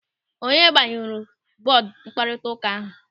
Onye gbanyụrụ bọọdụ mkparịta ụka ahụ?